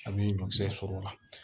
A bi ɲɔgisɛ sɔrɔ o la